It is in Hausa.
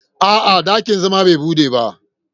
A'a, dakin zama bai bude ba.